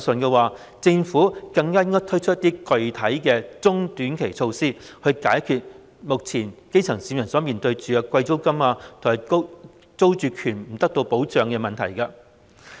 既然如此，政府更應推出具體的中短期措施，解決基層市民目前面對租金高昂和租住權不受保障的問題。